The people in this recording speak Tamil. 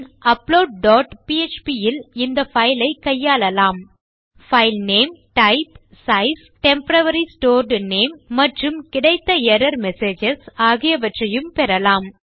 பின் அப்லோட் டாட் பிஎச்பி இல் இந்த பைல் ஐ கையாளலாம் file name type size temporary stored name மற்றும் கிடைத்த எர்ரர் மெசேஜஸ் ஆகியவற்றையும் பெறலாம்